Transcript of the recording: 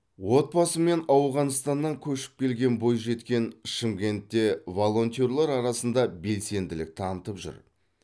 отбасымен ауғанстаннан көшіп келген бойжеткен шымкентте волентерлер арасында белсенділік танытып жүр